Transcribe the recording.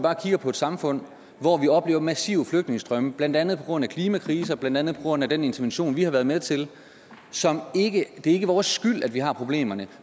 og kigger på et samfund hvor vi oplever massive flygtningestrømme blandt andet på grund af klimakrisen og blandt andet på grund af den intervention vi har været med til det er ikke vores skyld at vi har problemerne